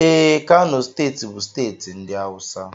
Ee, Kano steeti bụ steeti ndị awụsa